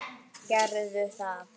Gerðu það!